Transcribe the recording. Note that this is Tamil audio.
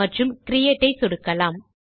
மற்றும் கிரியேட் ஐ சொடுக்கலாம்